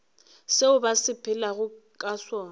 seo ba sepelago ka sona